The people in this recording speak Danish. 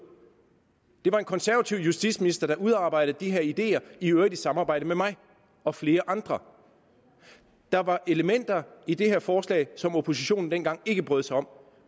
det var en konservativ justitsminister der udarbejdede de her ideer i øvrigt i samarbejde med mig og flere andre der var elementer i dette forslag som oppositionen dengang ikke brød sig om